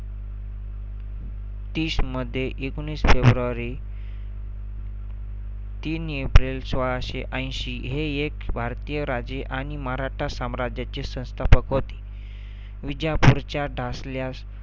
तीस मध्ये एकोणीस फेब्रुवरी तीन एप्रिल सोळाशे ऐंशी हे एक भारतीय राजे आणि मराठा साम्राज्याचे संस्थापक होते. विजापूरच्या